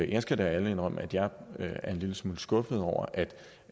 jeg skal da ærligt indrømme at jeg er en lille smule skuffet over